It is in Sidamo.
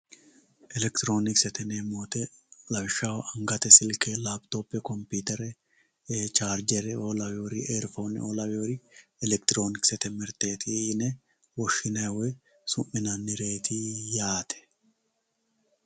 Elekitironkisete yineemmo woyte lawishshaho angate silke laphittophe komputere charijereo lawinori eriphoneo lawinori elekitironkisete mirteti yine woshshinanni woyi su'minannireti yaate.